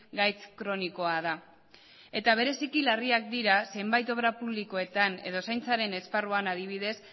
gaitz kronikoa da eta bereziki larriak dira zenbait obra publikoetan edo zaintzaren esparruan adibidez